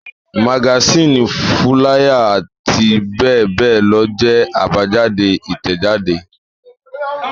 Magasínì, fúláyà àti bẹ́ẹ̀ bẹ́ẹ̀ lọ jẹ́ àbájáde Ìtẹ̀jáde.